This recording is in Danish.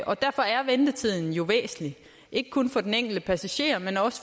og derfor er ventetiden jo væsentlig ikke kun for den enkelte passager men også